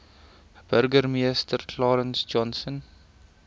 burgemeester clarence johnson